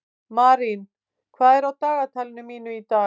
Marín, hvað er á dagatalinu mínu í dag?